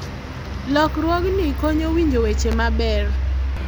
lokruogni konyo winjo weche maber